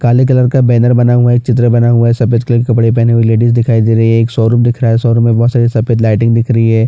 काले कलर का बैनर बना हुआ है चित्र बना हुआ है सफ़ेद कलर कपड़े पहने हुए लेडीज दिखाई दे रही है एक शोरूम दिख रहा है शोरूम में बहोत सारी लाइट दिखाई दे रही है।